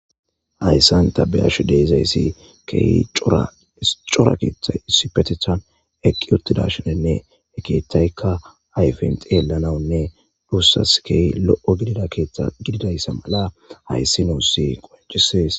hayssan tabiyashu deizayssi key cora keeththa sipetetan eqqi uttidashinenne e keetaykka ayfent yelanawunne duussas key lo7o gidida keeththa gididayssa mala hayssi nuussi qoncisees